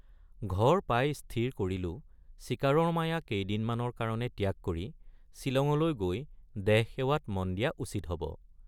ঘৰ পাই স্থিৰ কৰিলোঁ চিকাৰৰ মায়া কেইদিনমানৰ কাৰণে ত্যাগ কৰি ছিলঙলৈ গৈ দেহসেৱাত মন দিয়া উচিত হব।